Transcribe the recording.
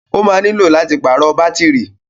Ó ma nílò láti pàrọ̀ bátírì